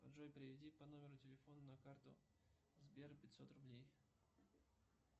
джой переведи по номеру телефона на карту сбер пятьсот рублей